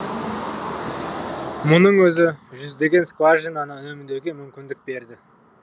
мұның өзі жүздеген скважинаны үнемдеуге мүмкіндік берді